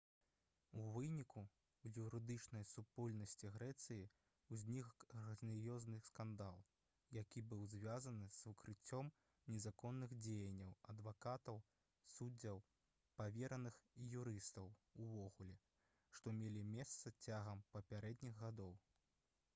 у выніку у юрыдычнай супольнасці грэцыі ўзнік грандыёзны скандал які быў звязаны з выкрыццём незаконных дзеянняў адвакатаў суддзяў павераных і юрыстаў увогуле што мелі месца цягам папярэдніх гадоў